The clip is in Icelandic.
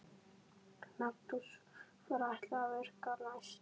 Magnús: Hvar ætlarðu að virkja næst?